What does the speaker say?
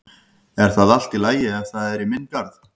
Er það allt í lagi ef það er í minn garð?